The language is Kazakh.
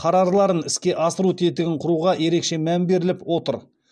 қарарларын іске асыру тетігін құруға ерекше мән беріліп отыр